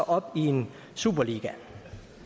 op i en superliga